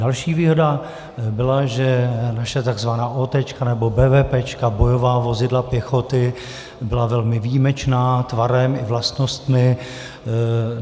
Další výhoda byla, že naše takzvaná ótéčka nebo bévépéčka, bojová vozidla pěchoty, byla velmi výjimečná tvarem i vlastnostmi.